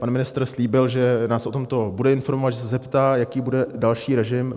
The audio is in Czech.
Pan ministr slíbil, že nás o tomto bude informovat, že se zeptá, jaký bude další režim.